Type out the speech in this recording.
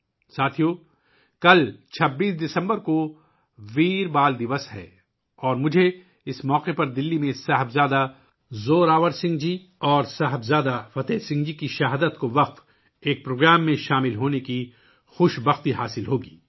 ساتھیو ، کل 26 دسمبر کو 'ویر بال دِوس' ہے اور اس موقع پر مجھے دلّی میں صاحبزادہ زوراوَر سنگھ جی اور صاحبزادہ فتح سنگھ جی کی شہادت کے لیے وقف پروگرام میں شرکت کی سعادت حاصل ہوگی